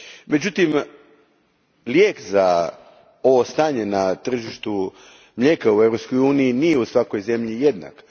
Međutim, lijek za ovo stanje na tržištu mlijeka u EU u nije u svakoj zemlji jednak.